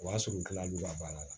O y'a sɔrɔ n kila lo ka baara la